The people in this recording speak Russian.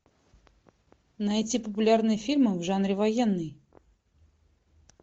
найти популярные фильмы в жанре военный